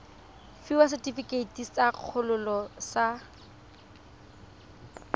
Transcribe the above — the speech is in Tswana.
fiwa setefikeiti sa kgololo sa